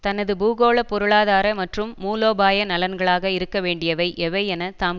தனது பூகோள பொருளாதார மற்றும் மூலோபாய நலன்களாக இருக்க வேண்டியவை எவை என தாம்